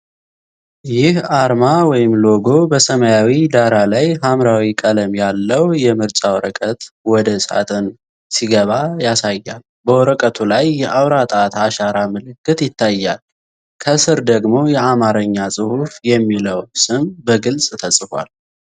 ይህ አርማ (ሎጎ) በሰማያዊ ዳራ ላይ ሐምራዊ ቀለም ያለው የምርጫ ወረቀት ወደ ሳጥን ሲገባ ያሳያል፤ በወረቀቱ ላይ የአውራ ጣት አሻራ ምልክት ይታያል። ከስር ደግሞ የአማርኛ ጽሑፍ፣ የሚለው ስም በግልጽ ተጽፏል።